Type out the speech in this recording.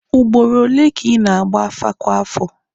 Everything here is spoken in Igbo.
Ugboro ole ka ị na-agba afa kwa afọ?